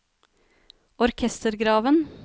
orkestergraven